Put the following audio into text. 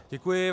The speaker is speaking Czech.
Děkuji.